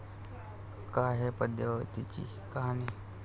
काय आहे पद्मावतीची कहाणी?